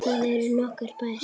Þar eru nokkrir bæir.